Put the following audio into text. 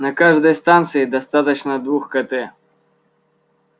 на каждой станции достаточно двух кт